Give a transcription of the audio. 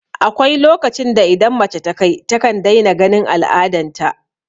Akwai lokacin da idan mace ta kai takan daina ganin al'adan ta